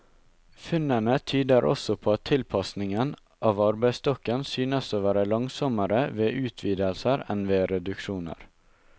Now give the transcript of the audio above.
Funnene tyder også på at tilpasningen av arbeidsstokken synes å være langsommere ved utvidelser enn ved reduksjoner.